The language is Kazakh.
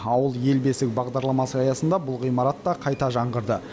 ауыл ел бесігі бағдарламасы аясында бұл ғимарат та қайта жаңғырды